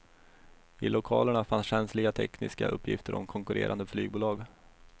I lokalerna fanns känsliga tekniska uppgifter om konkurrerande flygbolag.